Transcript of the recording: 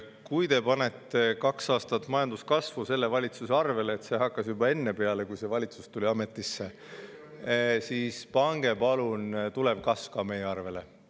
Kui te panete kaks aastat majandus minu valitsuse arvele – see hakkas peale juba enne, kui see valitsus tuli ametisse –, siis pange palun tulev kasv ka meie arvele.